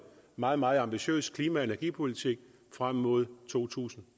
meget meget ambitiøs klima og energipolitik frem mod to tusind